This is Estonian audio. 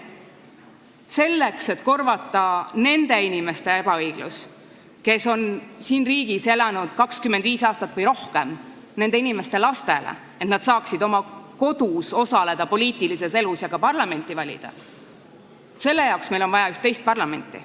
Selleks, et korvata ebaõiglus nende inimeste suhtes, kes on siin riigis elanud 25 aastat või rohkem, ja nende inimeste laste suhtes, et nad saaksid oma kodus poliitilises elus osaleda ja ka parlamenti valida, on meil vaja üht teist parlamenti.